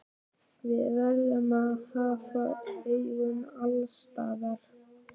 Við verðum að hafa augun alls staðar.